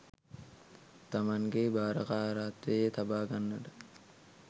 තමන්ගේ භාරකාරත්වයේ තබා ගන්නට